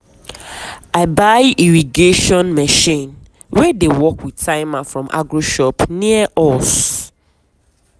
i buy irrigation machine wey dey work with timer from agro shop near us.